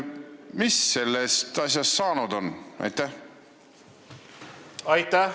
Mis sellest asjast saanud on?